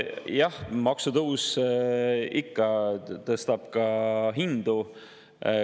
Jah, maksutõus ikka tõstab ka hindu.